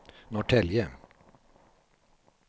Norrtälje